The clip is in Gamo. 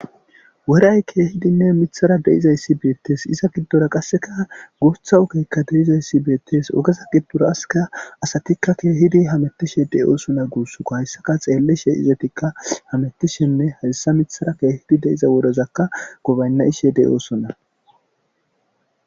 Weray keehidinne mithara deizayssi beettes iza giddora qasseka guutha ukeykka deizayssi beettes ogeza gibburaaska asatikka keehidi hamettishe de'oosona guussko hayssaka xeelleshe izetikka hamettishenne hassa mithara keehidi de7iza wodozakka gobaynna ishe dey oosona.